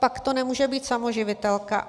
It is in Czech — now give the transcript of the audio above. Pak to nemůže být samoživitelka.